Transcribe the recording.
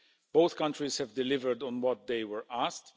Both countries have delivered on what they were asked.